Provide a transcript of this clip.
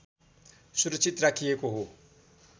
सुरक्षित राखिएको हो